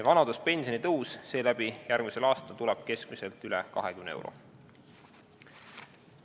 Vanaduspensioni tõus tuleb järgmisel aastal seeläbi keskmiselt üle 20 euro.